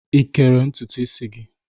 Ị kere ntutu isi gị?